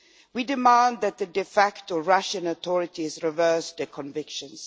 We demand that the de facto Russian authorities reverse their convictions.